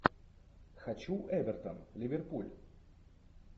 хочу эвертон ливерпуль